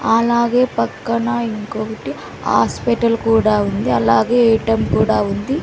అలాగే పక్కన ఇంకొకటి హాస్పిటల్ కూడా ఉంది అలాగే ఏటీఎం కూడా ఉంది.